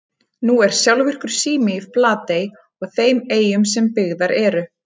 Nú er sjálfvirkur sími í Flatey og þeim eyjum sem byggðar eru.